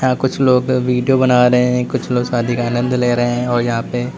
यहां कुछ लोग वीडियो बना रहे है कुछ लोग शादी का आनंद ले रहे हैं और यहां पे।